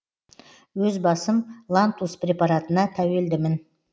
өз басым лантус препаратына тәуелдімін